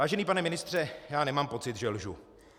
Vážený pane ministře, já nemám pocit, že lžu.